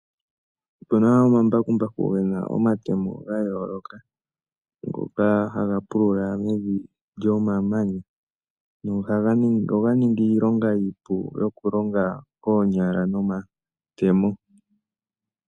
Opena ombakumbaku gena omatemo gayoloka ngoka haga pulula mevi lyomamanya. Nohanga ningi iilonga iipu yoku longa koonyala nomatemo.